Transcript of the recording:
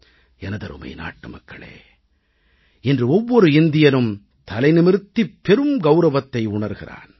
எனதருமை நாட்டுமக்களே இன்று ஒவ்வொரு இந்தியனும் தலை நிமிர்த்தி பெரும் கௌரவத்தை உணர்கிறான்